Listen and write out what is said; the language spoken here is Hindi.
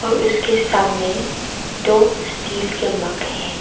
उसके सामने दो स्टील के मग है।